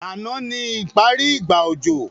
Ànán ni ìbẹ́rẹ́ ìgbà òjò